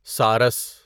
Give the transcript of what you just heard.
سارس